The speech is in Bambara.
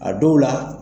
A dɔw la